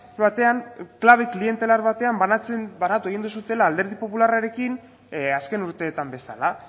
batean klabe klientelar batean banatu egin duzuela alderdi popularrarekin azken urteetan bezala